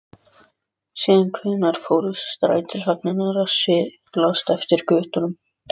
Síðan hvenær fóru strætisvagnar að silast eftir götunum?